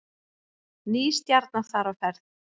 Ný stjarna þar á ferð